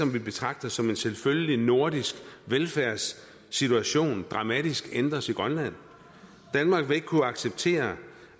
vi betragter som en selvfølgelig nordisk velfærdssituation dramatisk ændres i grønland danmark vil ikke kunne acceptere